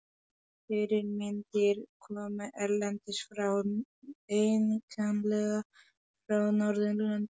Fyrirmyndir komu erlendis frá, einkanlega frá Norðurlöndum.